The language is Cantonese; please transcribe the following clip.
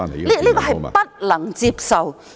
這是不能接受的。